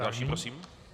Další prosím.